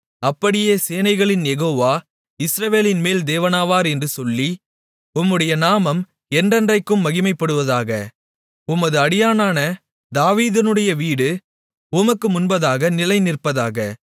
அப்படியே சேனைகளின் யெகோவா இஸ்ரவேலின்மேல் தேவனானவர் என்று சொல்லி உம்முடைய நாமம் என்றென்றைக்கும் மகிமைப்படுவதாக உமது அடியானான தாவீதினுடைய வீடு உமக்கு முன்பாக நிலைநிற்பதாக